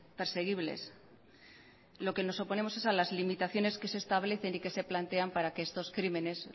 perseguibles lo que nos oponemos es a las limitaciones que se establecen y que se plantean para que estos crímenes